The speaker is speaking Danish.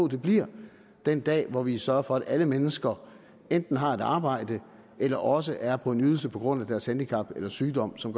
det bliver den dag hvor vi sørger for at alle mennesker enten har et arbejde eller også er på en ydelse på grund af deres handicap eller sygdom som